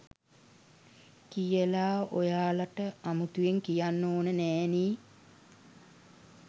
කියලා ඔයාලට අමුතුවෙන් කියන්න ඕන නැහැනේ